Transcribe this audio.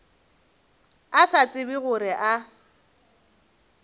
a sa tsebe gore a